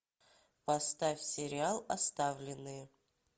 поставь сериал оставленные